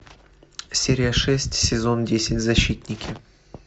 серия шесть сезон десять защитники